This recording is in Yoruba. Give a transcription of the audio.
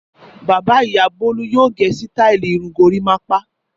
Bàbá-ìyá Bólú yóò gé sítáálì irun gorímápá.